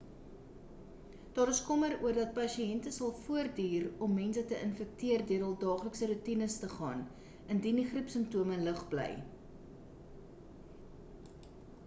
daar is kommer oor dat pasiënte sal voortduur om meer mense te infekteer deur hul daaglikse roetines te gaan indien die griepsimptome lig bly